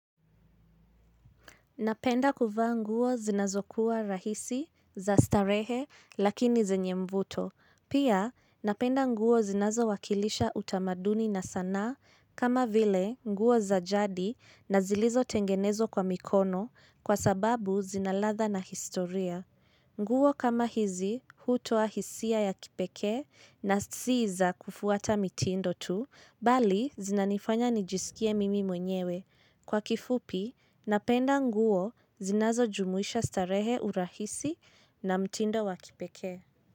Napenda kuvaa nguo zinazokuwa rahisi za starehe lakini zenye mvuto. Pia napenda nguo zinazo wakilisha utamaduni na sanaa kama vile nguo za jadi na zilizo tengenezwa kwa mikono kwa sababu zina ladha na historia. Nguo kama hizi hutoa hisia ya kipekee na si za kufuata mitindo tu bali zinanifanya nijisikie mimi mwenyewe. Kwa kifupi, napenda nguo zinazo jumuisha starehe urahisi na mtindo wakipekee.